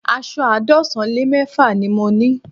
Aṣọ àádọ́sán lé mẹ́fà ni mo ní